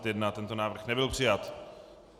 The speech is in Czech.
Tento návrh nebyl přijat.